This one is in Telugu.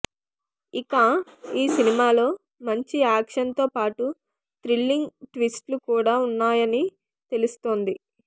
ఇక ఈ సినిమాలో మంచి యాక్షన్ తో పాటు థ్రిల్లింగ్ ట్విస్ట్ లు కూడా ఉన్నాయని తెలుస్తోంది